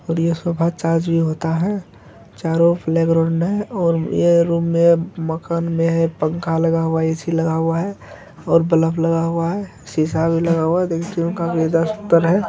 और यह sofa charge भी होता है चारों और यह रूम में मकान में है पंखा लगा हुआ है ए.सी लगा हुआ है और बल्ब लगा हुआ है सीसा भी लगा हुआ है